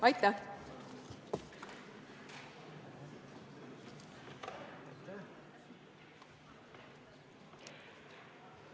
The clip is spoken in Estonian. Aitäh!